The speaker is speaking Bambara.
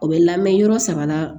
O bɛ lamɛn yɔrɔ saba la